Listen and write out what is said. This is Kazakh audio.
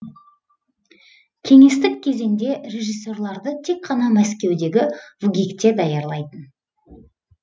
кеңестік кезеңде режиссерлерді тек қана мәскеудегі вгик те даярлайтын